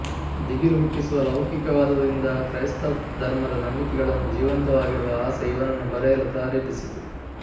ದಿಗಿಲು ಹುಟ್ಟಿಸುವ ಲೌಕಿಕವಾದದಿಂದ ಕ್ರೈಸ್ತಧರ್ಮದ ನಂಬಿಕೆಗಳನ್ನು ಜೀವಂತವಾಗಿಡುವ ಆಸೆ ಇವನನ್ನು ಬರೆಯಲು ಪ್ರೇರೇಪಿಸಿತು